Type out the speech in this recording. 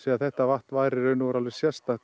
þetta vatn væri í raun og veru alveg sérstakt